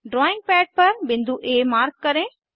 drawing pad पर बिंदु आ मार्क करें